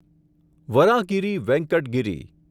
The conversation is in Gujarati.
વરાહગીરી વેંકટ ગિરી